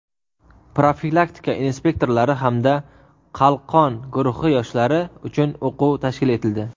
profilaktika inspektorlari hamda "Qalqon" guruhi yoshlari uchun o‘quv tashkil etildi.